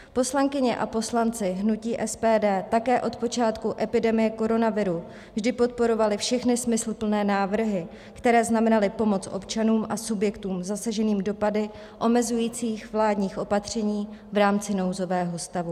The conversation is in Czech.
Poslankyně a poslanci hnutí SPD také od počátku epidemie koronaviru vždy podporovali všechny smysluplné návrhy, které znamenaly pomoc občanům a subjektům zasaženým dopady omezujících vládních opatření v rámci nouzového stavu.